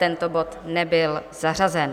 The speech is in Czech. Tento bod nebyl zařazen.